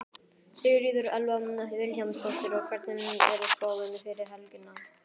Sigríður Elva Vilhjálmsdóttir: Og hvernig er spáin fyrir helgina?